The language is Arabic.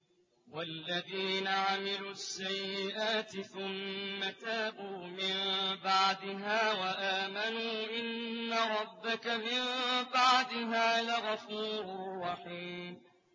وَالَّذِينَ عَمِلُوا السَّيِّئَاتِ ثُمَّ تَابُوا مِن بَعْدِهَا وَآمَنُوا إِنَّ رَبَّكَ مِن بَعْدِهَا لَغَفُورٌ رَّحِيمٌ